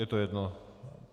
Je to jedno?